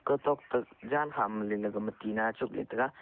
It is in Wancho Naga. otok toh janham lailai ka ma tinna e tuk le taiga.